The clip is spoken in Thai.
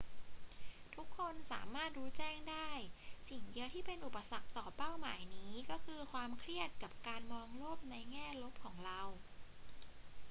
ทุกคนสามารถรู้แจ้งได้ สิ่งเดียวที่เป็นอุปสรรคต่อเป้าหมายนี้ก็คือความเครียดกับการมองโลกในแง่ลบของเรา